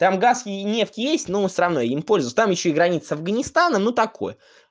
там газ и нефть есть но он всё равно им пользуюсь там ещё и граница с афганистаном но такое